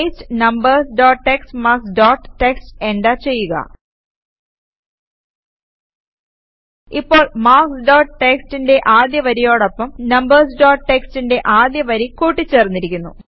paste numbers dot TXT marks dot TXT enter ചെയ്യുക ഇപ്പോൾ marks dot txtന്റെ ആദ്യ വരിയോടൊപ്പം നംബർസ് ഡോട്ട് txtന്റെ ആദ്യ വരി കൂട്ടി ചേർന്നിരിക്കുന്നു